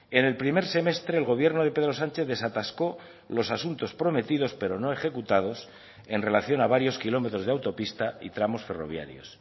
en el primer semestre el gobierno de pedro sánchez desatascó los asuntos prometidos pero no ejecutados en relación a varios kilómetros de autopista y tramos ferroviarios